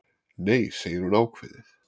Nei, segir hún ákveðið.